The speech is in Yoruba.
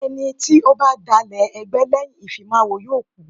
Ẹni tí ó bá dalẹ̀ ẹgbẹ́ lẹ́yìn ìfimáwo yóò kú.